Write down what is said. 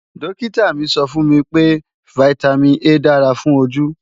Dókítà mi sọ fún mi pé Vitamin A dára fún ojú